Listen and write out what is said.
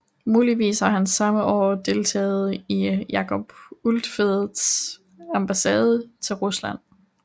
Muligvis har han samme år deltaget i Jacob Ulfeldts ambassade til Rusland